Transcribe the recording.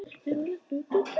Ég vildi þetta svo mikið.